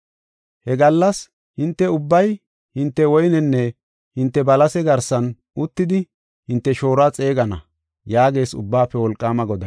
“He gallas hinte ubbay hinte woynenne hinte balase garsan uttidi hinte shooruwa xeegana” yaagees Ubbaafe Wolqaama Goday.